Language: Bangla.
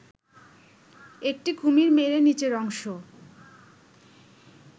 একটি কুমির মেরে নিচের অংশ